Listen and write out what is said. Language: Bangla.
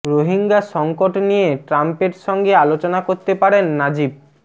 রোহিঙ্গা সংকট নিয়ে ট্রাম্পের সঙ্গে আলোচনা করতে পারেন নাজিব